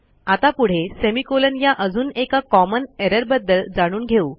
आता पुढे semicolonया अजून एका कॉमन एररबद्दल जाणून घेऊ